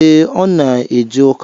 E, Ọ na eje ụka